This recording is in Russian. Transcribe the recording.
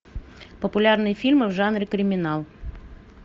популярные фильмы в жанре криминал